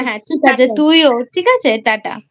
হ্যাঁ হ্যাঁ ঠিক আছে তুইও ঠিক আছে TATA I